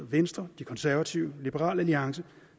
venstre de konservative liberal alliance